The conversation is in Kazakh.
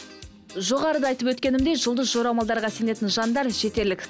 жоғарыда айтып өткенімдей жұлдыз жорамалдарға сенетін жандар жетерлік